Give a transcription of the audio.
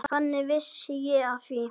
Þannig vissi ég af því.